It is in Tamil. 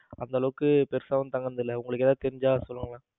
அந்த அளவுக்கு போய் தங்கினது இல்ல உங்களுக்கு ஏதாவது தெரிஞ்சா சொல்லுங்க.